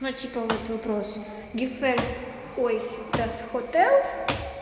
ну типа вот вопрос гефельт ой дас хотел